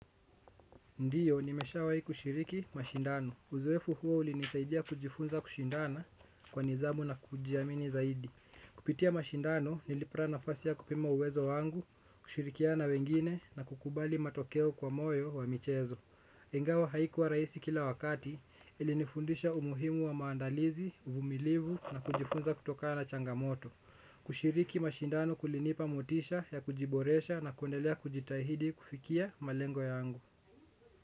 Ndio, nimeshawahi kushiriki mashindano. Uzoefu huo ulinisaidia kujifunza kushindana kwa nidhamu na kujiamini zaidi. Kupitia mashindano, nilipata nafasi ya kupima uwezo wangu, kushirikiana na wengine na kukubali matokeo kwa moyo wa michezo. Ingawa haikuwa rahisi kila wakati, ilinifundisha umuhimu wa maandalizi, uvumilivu na kujifunza kutokana na changamoto. Kushiriki mashindano kulinipa motisha ya kujiboresha na kuendelea kujitahidi kufikia malengo yangu.